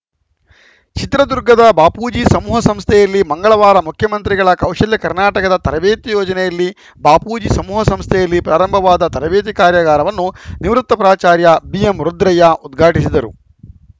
ಚಿತ್ರದುರ್ಗದ ಬಾಪೂಜಿ ಸಮೂಹ ಸಂಸ್ಥೆಯಲ್ಲಿ ಮಂಗಳವಾರ ಮುಖ್ಯಮಂತ್ರಿಗಳ ಕೌಶಲ್ಯ ಕರ್ನಾಟಕದ ತರಬೇತಿ ಯೋಜನೆಯಲ್ಲಿ ಬಾಪೂಜಿ ಸಮೂಹ ಸಂಸ್ಥೆಯಲ್ಲಿ ಪ್ರಾರಂಭವಾದ ತರಬೇತಿ ಕಾರ್ಯಾಗಾರವನ್ನು ನಿವೃತ್ತ ಪ್ರಾಚಾರ್ಯ ಬಿ ಎಂ ರುದ್ರಯ್ಯ ಉದ್ಘಾಟಿಸಿದರು